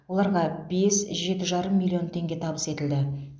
оларға бес жеті жарым миллион теңге табыс етілді